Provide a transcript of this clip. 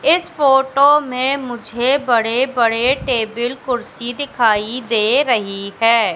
इस फोटो में मुझे बड़े बड़े टेबल कुर्सी दिखाई दे रही है।